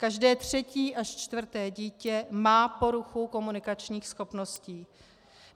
Každé třetí až čtvrté dítě má poruchu komunikačních schopností.